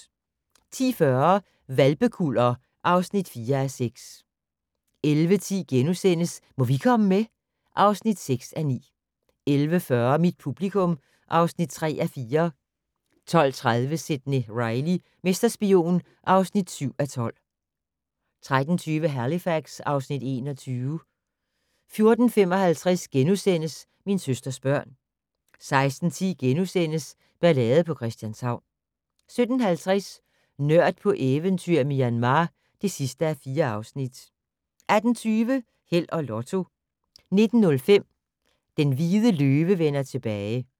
10:40: Hvalpekuller (4:6) 11:10: Må vi komme med? (6:9)* 11:40: Mit publikum (3:4) 12:30: Sidney Reilly - mesterspion (7:12) 13:20: Halifax (Afs. 21) 14:55: Min søsters børn * 16:10: Ballade på Christianshavn * 17:50: Nørd på eventyr i Myanmar (4:4) 18:20: Held og Lotto 19:05: Den hvide løve vender tilbage